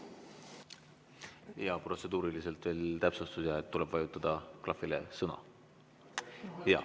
Protseduuriliselt selline täpsustus: tuleb vajutada klahvile "Sõna".